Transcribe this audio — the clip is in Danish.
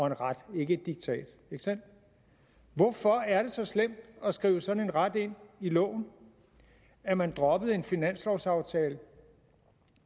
en ret og ikke et diktat ikke sandt hvorfor er det så slemt at skrive sådan en ret ind i loven at man droppede en finanslovsaftale